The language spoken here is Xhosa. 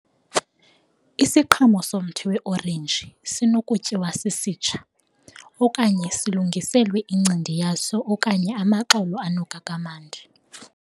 Isiqhamo somthi we-orenji sinokutyiwa sisitsha, okanye silungiselwe incindi yaso okanye amaxolo anuka kamnandi.